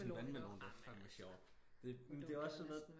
En vandmelon det var fandme sjovt men det er også sådan noget